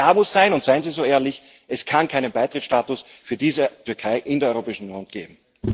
Aber klar muss sein und seien Sie so ehrlich Es kann keinen Beitrittsstatus für diese Türkei in der Europäischen Union geben.